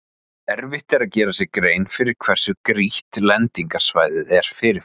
Erfitt er að gera sér grein fyrir hversu grýtt lendingarsvæðið er fyrirfram.